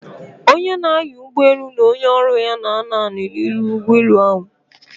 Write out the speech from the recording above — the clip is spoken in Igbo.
Onye na-anya ụgbọelu na onye ọrụ ya na-anọdụ ala n'ihu ụgbọ elu ahụ.